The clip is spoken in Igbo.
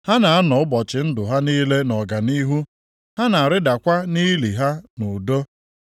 Ha na-anọ ụbọchị ndụ ha niile nʼọganihu, ha na-arịdakwa nʼili ha nʼudo.